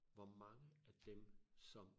Hvor mange af dem som